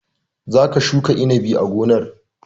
Za ka shuka inabi a gonar!